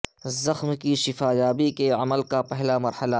زخم کی شفا یابی کے عمل کا پہلا مرحلہ